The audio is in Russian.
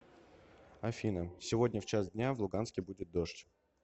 афина сегодня в час дня в луганске будет дождь